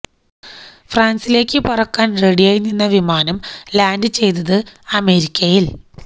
ഫ്രാന്സിലേക്കു പറക്കാന് റെഡിയായി നിന്ന വിമാനം ലാന്ഡ് ചെയ്തത് അമേരിക്കയില്